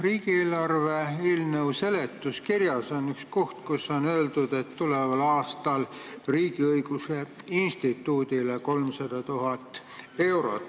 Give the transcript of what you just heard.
Riigieelarve eelnõu seletuskirjas on üks koht, kus on öeldud, et tuleval aastal eraldatakse Riigiõiguse Instituudile 300 000 eurot.